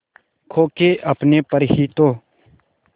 खो के अपने पर ही तो